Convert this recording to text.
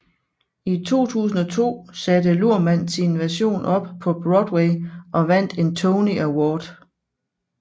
I 2002 satte Luhrmann sin version op på Broadway og vandt en Tony Award